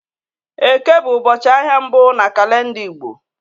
Eke bụ ụbọchị ahịa mbụ na kalenda Igbo